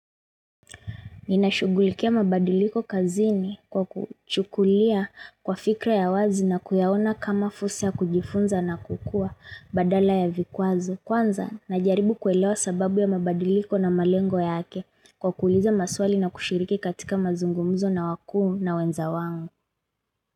Ninashugulikia mabadiliko kazini kwa kuchukulia kwa fikra ya wazi na kuyaona kama fursa kujifunza na kukua badala ya vikwazo. Kwanza, na jaribu kuelewa sababu ya mabadiliko na malengo yake kwa ku uliza maswali na kushiriki katika mazungumuzo na wakuu na wenza wangu.